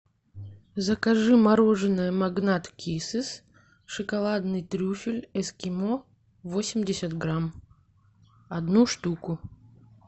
закажи мороженое магнат киссес шоколадный трюфель эскимо восемьдесят грамм одну штуку